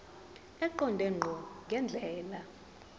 eqonde ngqo ngendlela